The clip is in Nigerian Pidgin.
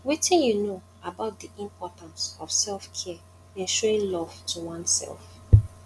wetin you know about di importance of selfcare in showing love to oneself